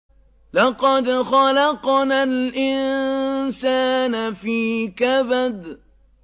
لَقَدْ خَلَقْنَا الْإِنسَانَ فِي كَبَدٍ